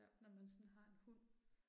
Når man sådan har en hund